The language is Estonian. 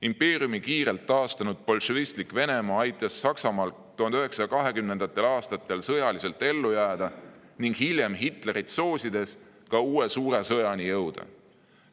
Impeeriumi kiirelt taastanud bolševistlik Venemaa aitas Saksamaal 1920. aastatel sõjaliselt ellu jääda ning hiljem Hitlerit soosides ka uue suure sõjani jõuda.